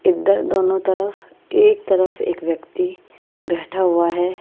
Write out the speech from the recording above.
इधर दोनों तरफ एक तरफ एक व्यक्ति बैठा हुआ है।